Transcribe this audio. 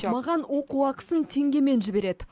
маған оқу ақысын теңгемен жібереді